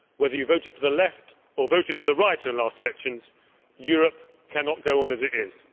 Whether you voted for the left or for the right in the last elections, Europe cannot go on as it is.